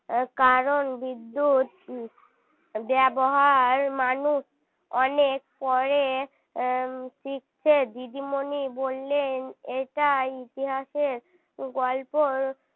কারণ বিদ্যুৎ ব্যবহার মানুষ অনেক পরে শিখেছে দিদিমণি বললেন এটাই ইতিহাসের গল্প